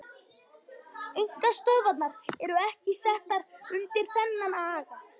Einkastöðvarnar eru ekki settar undir þennan aga.